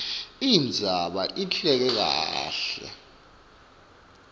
indzaba ihleleke kahle